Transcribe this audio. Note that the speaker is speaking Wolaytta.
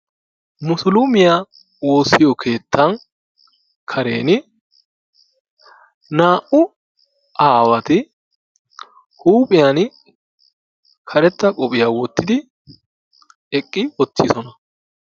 Musulumiyaa woossiyoo keettan kareni naa"u aawati huuphiyaan karetta qophiyaa woottidi eqqi uttidoosona.